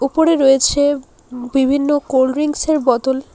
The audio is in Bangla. উপরে রয়েছে বিভিন্ন কোল্ড ড্রিঙ্কস -এর বতল।